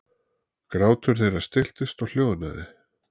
Grátur þeirra stilltist og hljóðnaði.